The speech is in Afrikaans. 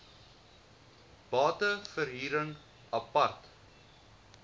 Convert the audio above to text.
bate verhuring apart